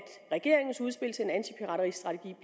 regeringens udspil til en antipirateristrategi